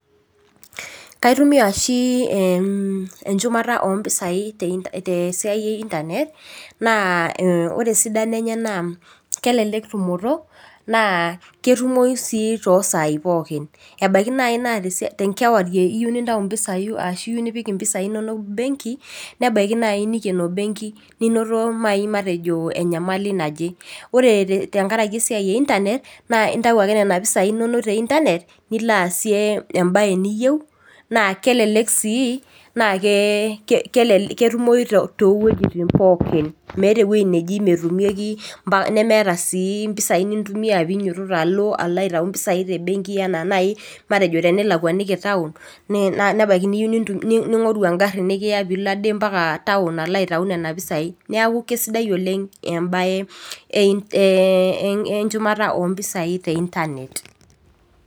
Kitumia ooshi enchumata oo impisai tesiaia ee internrt naa oore esidano eenye naa kelelek tumoto, naa ketumou sii too saai pooki. Ebaiki naaji naa tenkewarie iyieu nintau araki nipik impisai inonok embenki, nebaiki naaji neikeno embenki ninoto naaji matejo enyamali naaje. Oore tenkaraki embaye e internrt naa inatu ake naaji ena pisai inonok te internrt niilo aasie embaye niyieu, naa kelelek sii naa ketumou too wuejitin pookin meeta ewueji nemetumieki nemeeta sii impisai nintumia peyie iilo aitau impisai tembenki enaa naaji enaa tenilakwaniki town, nebaiki niyieu naaji ning'oru egari nekiya mpaka town aalo aitau nena pisai. Niaku kaisidai oleng embaye enchumata ompisai te internet.